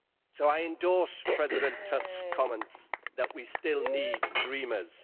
So I endorse President Tusk's comments that we still need dreamers.